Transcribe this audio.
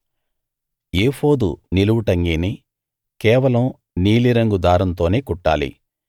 ఏఫోదు నిలువుటంగీని కేవలం నీలిరంగు దారంతోనే కుట్టాలి